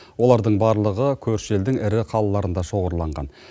олардың барлығы көрші елдің ірі қалаларында шоғырланған